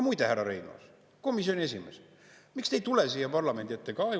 Muide, härra Reinaas, komisjoni esimees, miks te ei tule siia parlamendi ette?